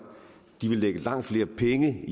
de vil lægge langt flere penge